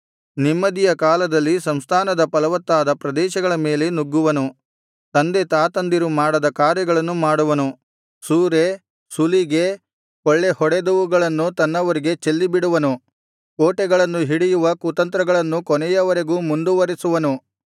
ನೆಮ್ಮದಿಯ ಕಾಲದಲ್ಲಿ ಸಂಸ್ಥಾನದ ಫಲವತ್ತಾದ ಪ್ರದೇಶಗಳ ಮೇಲೆ ನುಗ್ಗುವನು ತಂದೆ ತಾತಂದಿರು ಮಾಡದ ಕಾರ್ಯಗಳನ್ನು ಮಾಡುವನು ಸೂರೆ ಸುಲಿಗೆ ಕೊಳ್ಳೆ ಹೊಡೆದವುಗಳನ್ನು ತನ್ನವರಿಗೆ ಚೆಲ್ಲಿಬಿಡುವನು ಕೋಟೆಗಳನ್ನು ಹಿಡಿಯುವ ಕುತಂತ್ರಗಳನ್ನು ಕೊನೆಯವರೆಗೂ ಮುಂದುವರೆಸುವನು